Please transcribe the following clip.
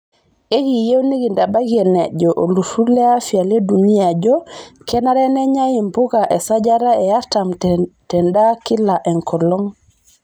Ekiiyieu nikintabaiki enajo oltururr le afya le dunia ajo kenare nenyai mpuka esajata e artam tendaa kila enkolong'.